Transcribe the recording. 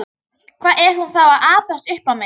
Hvað er hún þá að abbast upp á mig?